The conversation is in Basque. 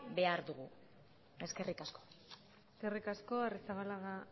behar dugu eskerrik asko eskerrik asko arrizabalaga